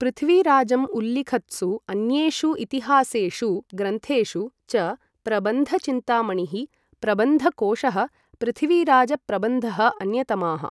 पृथ्वीराजम् उल्लिखत्सु अन्येषु इतिहासेषु ग्रन्थेषु च प्रबन्ध चिन्तामणिः, प्रबन्धकोशः, पृथ्वीराज प्रबन्धः अन्यतमाः।